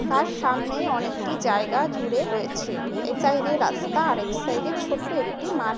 তার সামনে অনেকটি জায়গা জুড়ে রয়েছে। এ সাইড -এ রাস্তা আর এক সাইড -এ ছোট্ট একটি মাঠ রয়েছে ।